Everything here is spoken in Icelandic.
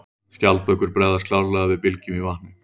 Skjaldbökur bregðast klárlega við bylgjum í vatni.